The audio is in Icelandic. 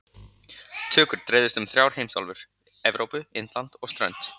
Tökur dreifðust um þrjár heimsálfur- Evrópu, Indland og strönd